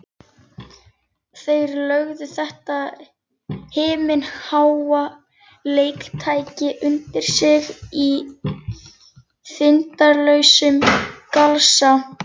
Þeir lögðu þetta himinháa leiktæki undir sig í þindarlausum galsa.